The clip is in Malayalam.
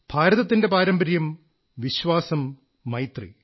ഭാരതത്തിന്റെ പാരമ്പര്യം വിശ്വാസം മൈത്രി